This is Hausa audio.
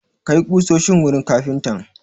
Kai ƙusoshin wurin kafintan!